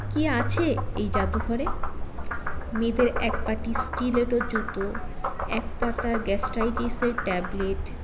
কী আছে এই জাদুঘরে মেয়েদের একপাটি stiletto জুতো একপাতা gastritis - এর tablet